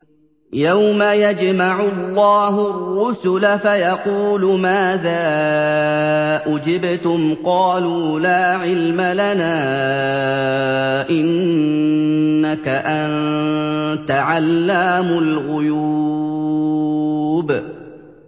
۞ يَوْمَ يَجْمَعُ اللَّهُ الرُّسُلَ فَيَقُولُ مَاذَا أُجِبْتُمْ ۖ قَالُوا لَا عِلْمَ لَنَا ۖ إِنَّكَ أَنتَ عَلَّامُ الْغُيُوبِ